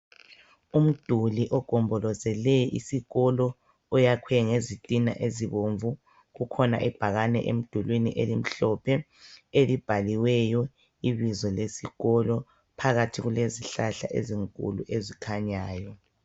Umduli ogombolozele isikolo oyakhiwe ngezitina ezibomvu kukhona ibhakane emdulwini elimhlophe elibhaliweyo ibizo lesikolo phakathi kulezihlahla ezikhanyayo.